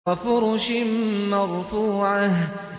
وَفُرُشٍ مَّرْفُوعَةٍ